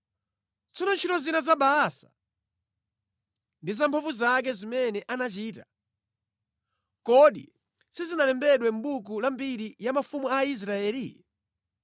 Tsono ntchito zina za Baasa ndi zamphamvu zake zimene anachita, kodi sizinalembedwe mʼbuku la mbiri ya mafumu a Israeli?